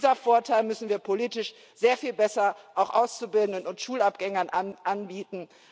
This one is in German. Diesen Vorteil müssen wir politisch sehr viel besser auch Auszubildenden und Schulabgängern anbieten.